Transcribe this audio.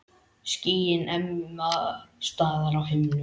Skýin ema staðar á himnum.